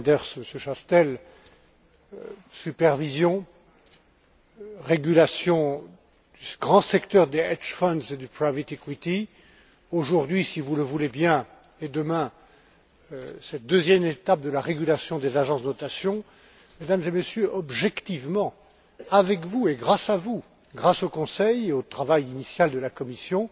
Didier Reynders, Monsieur Chastel, supervision, régulation, grand secteur des aujourd'hui, si vous le voulez bien et demain, cette deuxième étape de la régulation des agences de notation, Mesdames et Messieurs, objectivement avec vous et grâce à vous, grâce au Conseil et au travail initial de la Commission,